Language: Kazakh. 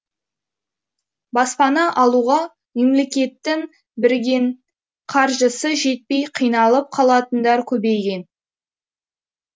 баспана алуға мемлекеттің берген қаржысы жетпей қиналып қалатындар көбейген